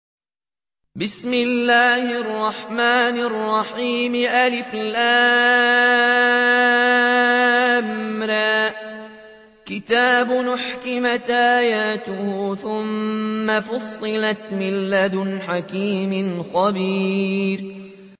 الر ۚ كِتَابٌ أُحْكِمَتْ آيَاتُهُ ثُمَّ فُصِّلَتْ مِن لَّدُنْ حَكِيمٍ خَبِيرٍ